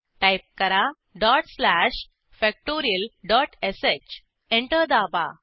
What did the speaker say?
type करा dot slash factorialश enter दाबा